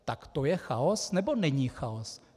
Tak to je chaos, nebo není chaos?